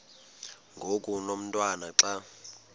ngoku umotwana xa